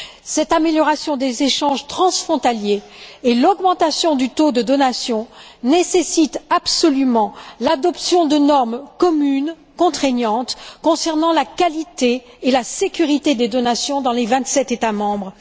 Cette amélioration des échanges transfrontaliers et l'augmentation du taux de donation nécessitent absolument l'adoption de normes communes contraignantes concernant la qualité et la sécurité des donations dans les vingt sept États membres.